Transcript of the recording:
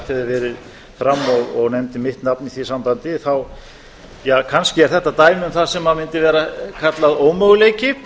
verið fram og nefndi mitt nafn í því sambandi kannski er þetta dæmi um það sem mundi vera kallað ómöguleiki